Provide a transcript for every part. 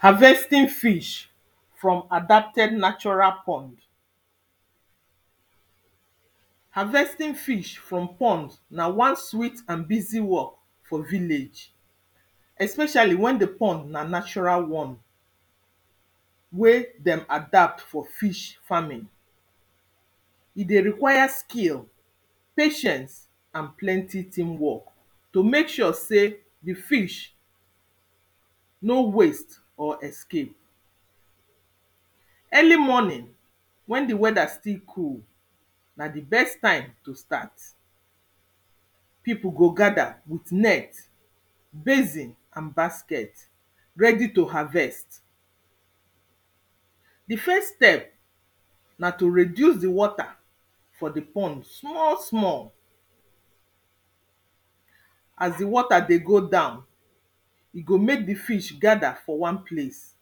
Harvesting fish from adapted natural pond Harvesting fish from pond na one sweet and busy work for village Especially wen the pond na natural one pause wey dem adapt for fish farming E dey require skill pause patient and plenty team work to make sure sey the fish no waste or escape. pause Early morning wen the weather still cool na the best time to start pause. People go gather with net basin, and basket ready to harvest. pause The first step na to reduce the water puase for the pond small small pause. As the water dey go down e go make the fish gather for one place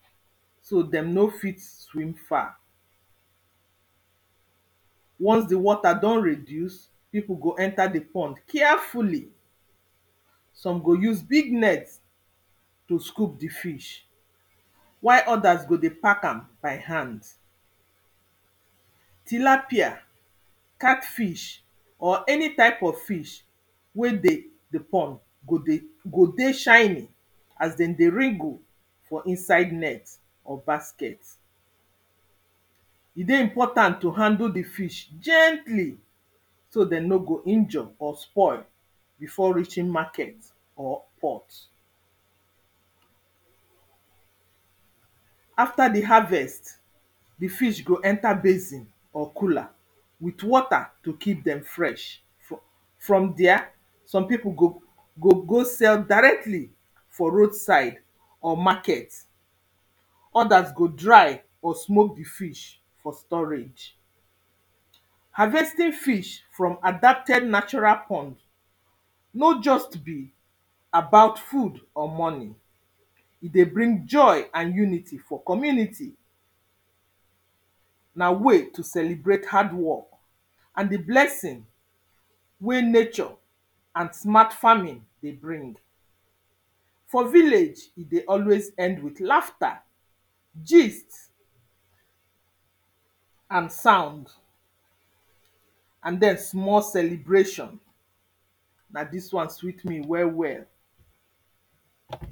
pause so dem no fit swim far Once the water don reduce, people go enter the pond carefully Some go use big net pause to scoup the fish pause while others go dey pack by hand Tilapia pause catfish or any type of fish wey dey the pond go dey, go dey shiny as dem dey wriggle for inside net or basket E dey important to handle the fish gently, so dem nor go injure or spoil before reaching market or port. pause After the harvest the fish go enter basin or cooler with water to keep dem fresh fro from there some people go go sell directly for road side or market Others go dry or smoke the fish for storage Harvesting fish from adapted natural pond nor just be pause about food or money E dey bring joy and unity for community. pause Na way to celebrate hard work And the blessing pause wey nature and smart farming dey bring For village e dey always end with lafta, gist pause and sound And then small celebration pause. Na this one sweet me well well